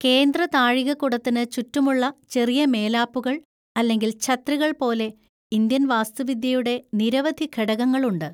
കേന്ദ്ര താഴികക്കുടത്തിന് ചുറ്റുമുള്ള ചെറിയ മേലാപ്പുകൾ അല്ലെങ്കിൽ ഛത്രികൾ പോലെ ഇന്ത്യൻ വാസ്തുവിദ്യയുടെ നിരവധി ഘടകങ്ങളുണ്ട്.